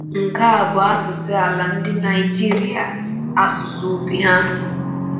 Nke a bụ asụsụ ala ndị Naijiria, asụsụ obi ha.